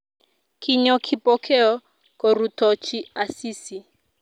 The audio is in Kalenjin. Kinyo Kipokeo korutochi Asisi